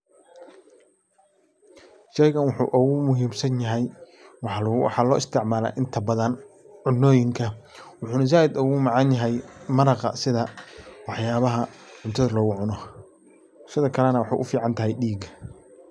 Shaygan waxuu ogu muhiimsanyahy waxaa loo isticmaala inta badan cunooyinka waxuuna zaiid ogu macanyahay maraqa sida waxyaabaha cuntada lagu cuno sidakalana waxay u ficantahy diiga.